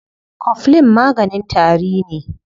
Coflin maganin tari ne.